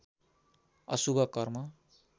अशुभ कर्म